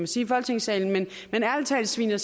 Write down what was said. sige i folketingssalen ærlig talt sviner